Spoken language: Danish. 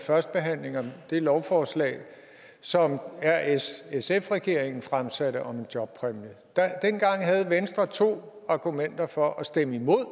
førstebehandlingen af det lovforslag som r s sf regeringen fremsatte om en jobpræmie dengang havde venstre to argumenter for at stemme imod